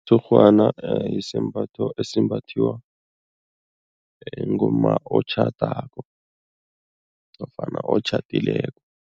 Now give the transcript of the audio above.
Umtshurhwana yisembatho esimbathiwa ngumma otjhadako nofana otjhadileko.